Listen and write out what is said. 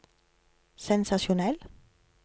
sensasjonell